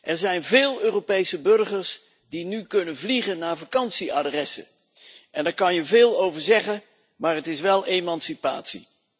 Er zijn veel Europese burgers die nu kunnen vliegen naar vakantieadressen en daar kan je veel over zeggen maar het is wel emancipatie.